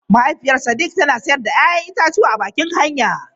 Mahaifiyar Sadiq tana sayar da 'ya'yan itatuwa a bakin hanya.